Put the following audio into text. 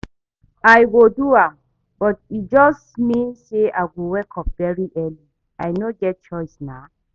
I go do am but e just mean say I go wake up very early. I no get choice nah